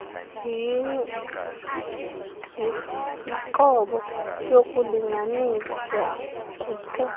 yinqobo yokulinganiswa kuphuculo